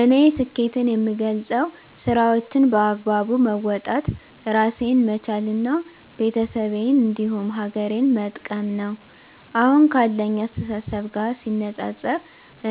እኔ ስኬትን የምገልፀው ስራዎቸን በአግባቡ መወጣት እራሴን መቻል እና ቤተሰቤን እንዲሁም ሀገሬን መጥቀም ነው። አሁን ካለኝ አስተሳሰብ ጋር ሲነፃፀር